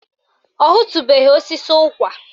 Ọ hụtubeghi osisi ụkwa